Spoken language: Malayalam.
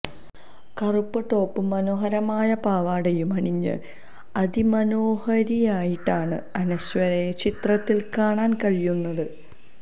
കറുപ്പ് ടോപ്പും മനോഹരമായ പാവാടയും അണിഞ്ഞ് അതിമനോഹരിയായിട്ടാണ് അനശ്വരയെ ചിത്രത്തിൽ കാണാൻ കഴിയുന്നത്